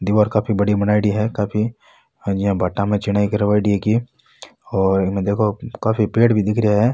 दिवार काफी बड़ी बनाईडी है काफी आ ज्या भाटा में चीनाई करवाई है इनकी और इमे देखो काफी पेड़ भी दिख रिया है।